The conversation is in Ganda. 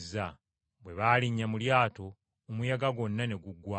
Bwe baalinnya mu lyato omuyaga gwonna ne guggwaawo.